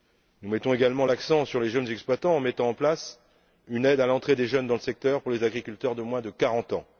Nous mettons également l'accent sur les jeunes exploitants en mettant en place une aide à l'entrée des jeunes dans le secteur pour les agriculteurs de moins de 40 ans.